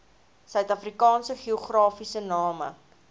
suidafrikaanse geografiese name